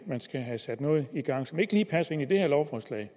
man skal have sat noget i gang som ikke lige passer ind i det her lovforslag